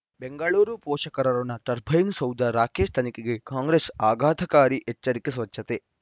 ಬೆಂಗಳೂರು ಪೋಷಕರಋಣ ಟರ್ಬೈನು ಸೌಧ ರಾಕೇಶ್ ತನಿಖೆಗೆ ಕಾಂಗ್ರೆಸ್ ಆಘಾತಕಾರಿ ಎಚ್ಚರಿಕೆ ಸ್ವಚ್ಛತೆ